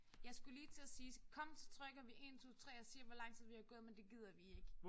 Jeg skulle lige til at sige kom så trykker vi 1 2 3 og siger hvor lang tid vi har gået men det gider vi ikke